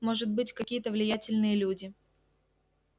может быть какие-то влиятельные люди